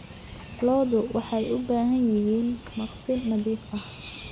Lo'du waxay u baahan yihiin maqsin nadiif ah.